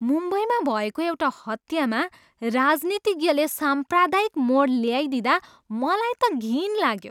मुम्बईमा भएको एउटा हत्यामा राजनीतिज्ञले साम्प्रदायिक मोड ल्याइदिँदा मलाई त घिन लाग्यो।